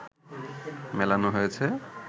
মেলানো হয়েছে